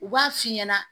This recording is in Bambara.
U b'a f'i ɲɛnɛ